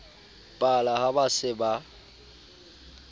pala ha ba se ba